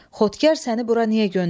Xotkar səni bura niyə göndərib?